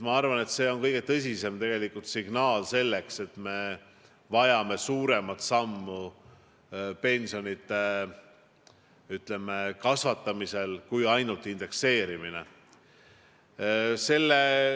Ma arvan, et see on tegelikult kõige tõsisem signaal, et me vajame suuremat sammu pensionide kasvatamisel kui ainult indekseerimine.